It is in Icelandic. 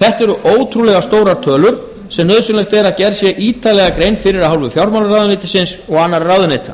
þetta eru ótrúlega stórar tölur sem nauðsynlegt að gerð sé ítarlega grein fyrir af hálfu fjármálaráðuneytisins og annarra ráðuneyta